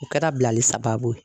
O kɛra bilali sababu ye